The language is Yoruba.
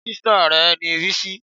Ṣé sìstá rẹ ni Bisi?